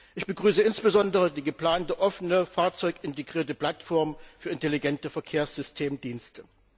Ich begrüße insbesondere die geplante offene, fahrzeugintegrierte Plattform für intelligente Verkehrssystemdienste.